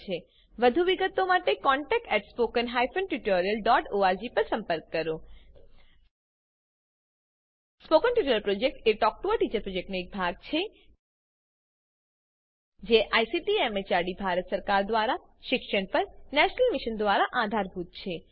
વધુ વિગતો માટે contactspoken tutorialorg પર લખો spoken tutorial project talk to a teacher પ્રોજેક્ટનો એક ભાગ છે જે આઈસીટી એમએચઆરડી ભારત સરકાર દ્વારા શિક્ષણ પર નેશનલ મિશન દ્વારા આધાર અપાયેલ છે